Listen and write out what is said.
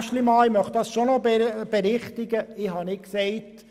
Martin Aeschlimann, ich möchte noch eine Berichtigung anbringen: